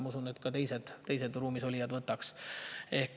Ma usun, et ka teised ruumis olijad võtaks.